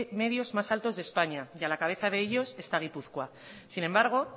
medios más altos de españa y a la cabeza de ellos está gipuzkoa sin embargo